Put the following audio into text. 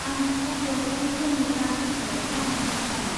आं बेखौ बेवहाय जोंनि ब्रान्सनिफ्राय खालामनो हागोन नामा?